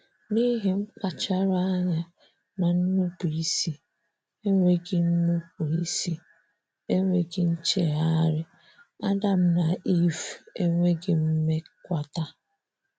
N'ihi mkpachara anya na nnụpu ịsị enweghị nnụpu ịsị enweghị nchegharị, Adam na Iv enweghị mmekwata.